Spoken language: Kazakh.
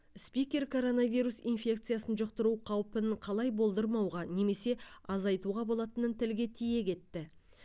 спикер коронавирус инфекциясын жұқтыру қаупін қалай болдырмауға немесе азайтуға болатынын тілге тиек етті